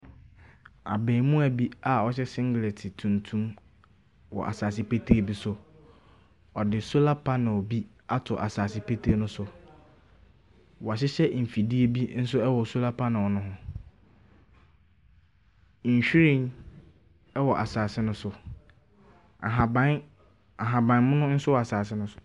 Abaamua bi a ɔhyɛ singlɛt tuntum wɔ asaase petee bi so. Ɔde sola panil bi ato asaase petee no so. W'ahyehyɛ mfidie bi nso ɛwɔ sola panil no ho. Nhwiren ɛwɔ asaase no so. Ahaban ahabanmono nso wɔ asaase no so.